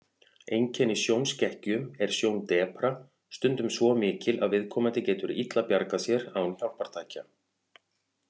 Einkenni sjónskekkju er sjóndepra, stundum svo mikil að viðkomandi getur illa bjargað sér án hjálpartækja.